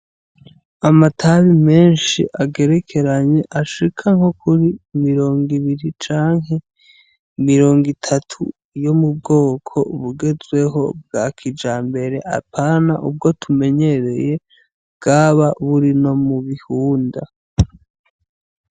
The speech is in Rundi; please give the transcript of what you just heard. Amatabi menshi agerekeranye ashika nkokuri ,mirongwibiri ,canke mirongwitatu yomubwoko bugezweho bwakijambere apana ubwo tumenyereye bwaba burino mubiihunda.